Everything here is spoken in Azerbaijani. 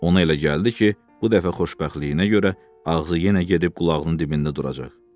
Ona elə gəldi ki, bu dəfə xoşbəxtliyinə görə ağzı yenə gedib qulağının dibində duracaq.